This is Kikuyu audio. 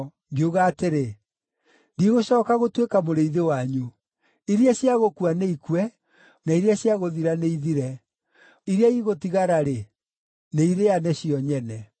ngiuga atĩrĩ, “Ndigũcooka gũtuĩka mũrĩithi wanyu. Iria cia gũkua nĩikue, na iria cia gũthira nĩithire. Iria igũtigara-rĩ, nĩirĩane cio nyene.”